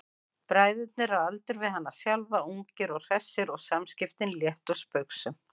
Bræðurnir eru á aldur við hana sjálfa, ungir og hressir og samskiptin létt og spaugsöm.